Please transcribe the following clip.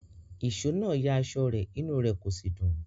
Ìṣó náà ya aṣọ rẹ̀, inú rẹ̀ kò sì dùn.